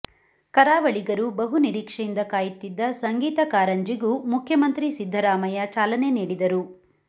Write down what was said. ಕರಾವಳಿಗರು ಬಹು ನಿರೀಕ್ಷೆಯಿಂದ ಕಾಯುತ್ತಿದ್ದ ಸಂಗೀತ ಕಾರಂಜಿಗೂ ಮುಖ್ಯಮಂತ್ರಿ ಸಿದ್ದರಾಮಯ್ಯ ಚಾಲನೆ ನೀಡಿದರು